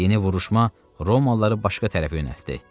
Yeni vuruşma Romalıları başqa tərəfə yönəltdi.